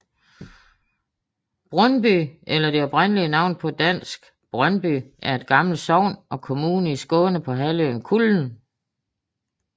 Brunnby eller det oprindelige navn på dansk Brøndby er et gammel sogn og kommune i Skåne på halvøen Kullen